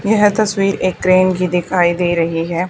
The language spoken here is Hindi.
यह तस्वीर एक ट्रेन की दिखाई दे रही है।